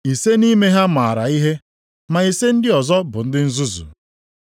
Ise nʼime ha maara ihe, ma ise ndị ọzọ bụ ndị nzuzu.